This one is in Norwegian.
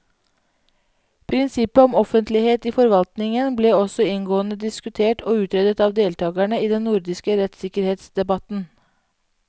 Prinsippet om offentlighet i forvaltningen ble også inngående diskutert og utredet av deltakerne i den nordiske rettssikkerhetsdebatten.